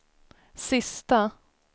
sista